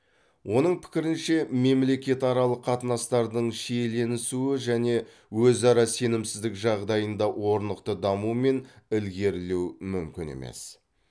оның пікірінше мемлекетаралық қатынастардың шиеленісуі және өзара сенімсіздік жағдайында орнықты даму мен ілгерілеу мүмкін емес